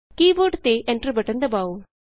ਕੀ board ਤੇ Enter button ਦਬਾੳ